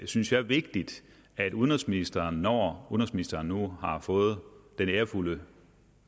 synes jeg vigtigt at udenrigsministeren når udenrigsministeren nu har fået den ærefulde